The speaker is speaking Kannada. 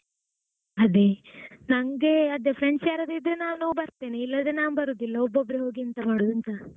ಅದೇ ನಂಗೇ ಅದೇ friends ಯಾರಾದ್ರು ಇದ್ರೆ ನಾನೂ ಬರ್ತೇನೆ ಇಲ್ಲದ್ರೆ ನಾನ್ ಬರುದಿಲ್ಲ ಒಬ್ಬೊಬ್ರೆ ಹೋಗಿ ಎಂತ ಮಾಡುದೂಂತ.